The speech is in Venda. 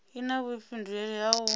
i na vhuifhinduleli ha u